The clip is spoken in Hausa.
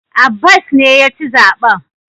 Abbas ne ya ci zaben.